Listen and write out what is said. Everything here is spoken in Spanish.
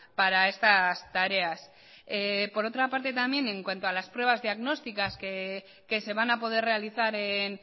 para estas tareas por otra parte también en cuanto a las pruebas diagnósticas que se van a poder realizar en